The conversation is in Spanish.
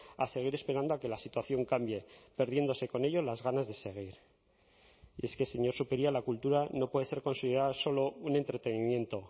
a seguir esperando a que la situación cambie perdiéndose con ello las ganas de seguir y es que señor zupiria la cultura no puede ser considerada solo un entretenimiento